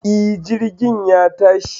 E, Jirgin ya tashi